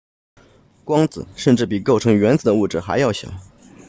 光子甚至比构成原子的物质还要小